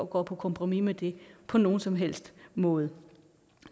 går på kompromis med det på nogen som helst måde